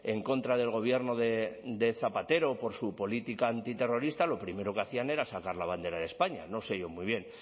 en contra del gobierno de zapatero por su política antiterrorista lo primero que hacían era sacar la bandera de españa no sé yo muy bien